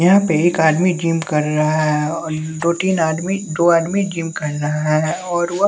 यहां पे एक आदमी जिम कर रहा है और दो तीन आदमी दो आदमी जिम कर रहा है और वह--